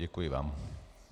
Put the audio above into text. Děkuji vám.